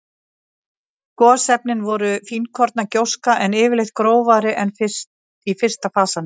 Gosefnin voru fínkorna gjóska, en yfirleitt grófari en í fyrsta fasanum.